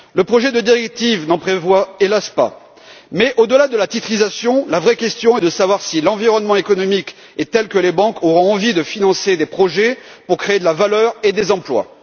Le projet de directive n'en prévoit hélas pas, mais, au delà de la titrisation, la vraie question est de savoir si l'environnement économique est tel que les banques auront envie de financer des projets pour créer de la valeur et des emplois.